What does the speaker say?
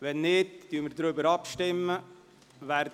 – Wenn nicht, stimmen wir ab.